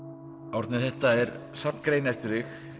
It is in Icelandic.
Árni þetta er safn greina eftir þig